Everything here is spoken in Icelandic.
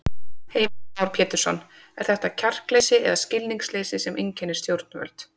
Heimir Már Pétursson: Er þetta kjarkleysi eða skilningsleysi sem einkennir stjórnvöld?